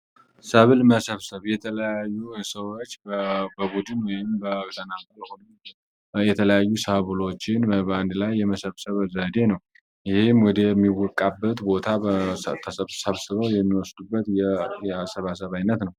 ሰብል መሰብሰብ የተለያዩ ሰዎች በቡድን ወይም በተናጠል ሆኖ የተለያዩ ሰብሎችን በበአንድ ላይ የመሰብሰብ ዘዴ ነው ይህም ወደሚወቃበት ቦታ ተሰብስበው የሚወስዱበት የሰባሰባ ዓይነት ነው።